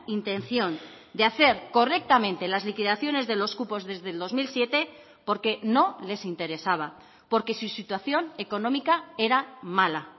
intención de hacer correctamente las liquidaciones de los cupos desde el dos mil siete porque no les interesaba porque su situación económica era mala